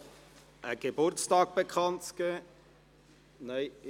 Ich habe noch einen Geburtstag bekanntzugeben.